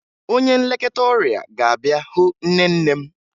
Onye nlekọta ọrịa ga-abịa hụ nne nne m